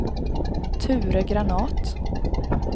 Ture Granath